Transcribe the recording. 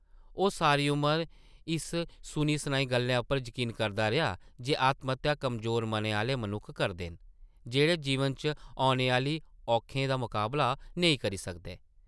ओह् सारी उमर इस सुनी-सनाई गल्लै उप्पर यकीन करदा रेहा जे आत्महत्या कमज़ोर मनै आह्ले मनुक्ख करदे न, जेह्ड़े जीवन च औने आह्ली औखें दा मकाबला नेईं करी सकदे ।